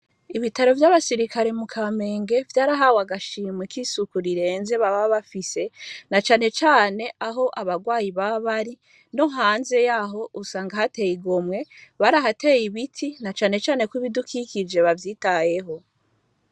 Ibitaro vy’abasirikare mu Kamenge vyarahawe agashimwe k'isuku rirenze bababafise na cane cane aho abarwayi bababari no hanze yaho usange hategumwe barahateye ibiti na cane cane ko ibidukikije bavyitayeho.